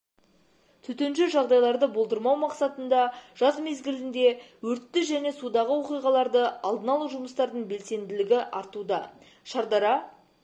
төтенше жағдайларды болдырмау мақсатында жаз мезгілінде өртті және судағы оқиғаларды алдын алу жұмыстардың белсенділігі артуда шардара